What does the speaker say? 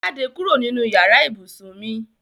Jáde kúrò nínú yàrá ibùsùn mi!